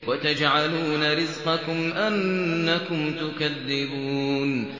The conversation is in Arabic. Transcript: وَتَجْعَلُونَ رِزْقَكُمْ أَنَّكُمْ تُكَذِّبُونَ